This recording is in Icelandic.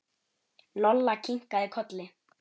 Lolla kinkaði kolli.